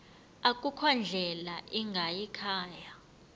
akukho ndlela ingayikhaya